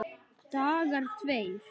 Dagar tveir